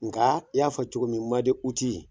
Nka i y'a fɔ cogo min